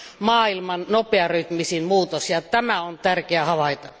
maailman nopearytmisin muutos ja tämä on tärkeää havaita.